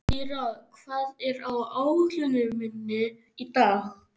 Týra, hvað er á áætluninni minni í dag?